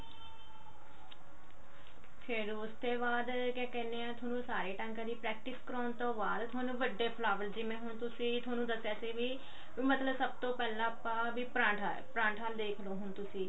ਫ਼ੇਰ ਉਸਤੇ ਬਾਅਦ ਕਿਆ ਕਹਿਨੇ ਆ ਥੋਨੂੰ ਸਾਰੇ ਟਾਂਕਿਆਂ ਦੀ practice ਕਰਵਾਉਣ ਤੋਂ ਬਾਅਦ ਥੋਨੂੰ ਵੱਡੇ flower ਜਿਵੇਂ ਹੁਣ ਤੁਸੀਂ ਥੋਨੂੰ ਦੱਸਿਆ ਸੀ ਵੀ ਸਭ ਤੋਂ ਪਹਿਲਾਂ ਆਪਾਂ ਵੀ ਪਰਾਂਠਾ ਪਰਾਂਠਾ ਨੂੰ ਦੇਖਲੋ ਹੁਣ ਤੁਸੀਂ